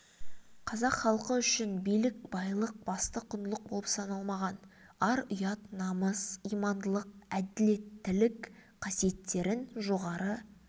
қазақ халқы үшін билік байлық басты құндылық болып саналмаған ар ұят намыс имандылық әділеттілік қасиеттерін жоғары